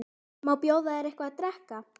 Má bjóða þér eitthvað að drekka?